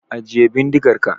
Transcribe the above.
Ajiye bindigar ka!